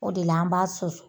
O de la an b'a susu.